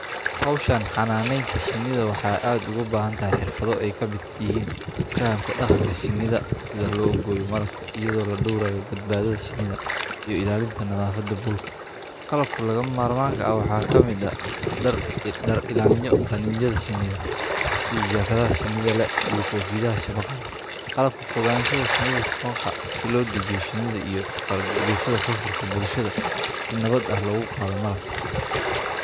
Hoshan xananeta shinada waxa aad ogu bahantahay xirfado ee kamiid yihin fahanka daqanka shinida oo lo goyo iyada oo ladorayo shinida darka shinidha sitha haqadho iyo kotiyaha shinida qalabka fogasha si lo diyariyo bulshada si lo diyariyo qalabka fargwetadha si logu qadho malabka.